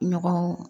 Ɲɔgɔn